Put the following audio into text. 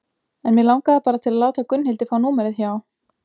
En mig langaði bara til að láta Gunnhildi fá númerið hjá